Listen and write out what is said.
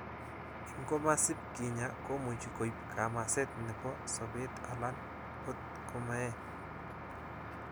Ingomasib kinya, komuch koib kamaset nebo sobet alan ot komeet.